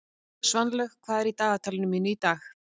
Svanlaug, hvað er í dagatalinu mínu í dag?